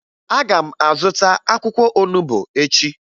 Aga m azụta akwụkwọ onubo echi